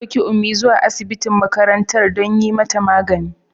An ɗauki Ummi zuwa asibitin makarantar don yi mata magani.